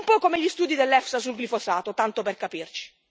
Un po' come gli studi dell'EFSA sul glifosato, tanto per capirci.